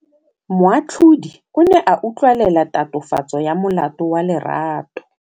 Moatlhodi o ne a utlwelela tatofatsô ya molato wa Lerato.